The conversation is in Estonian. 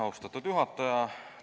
Austatud juhataja!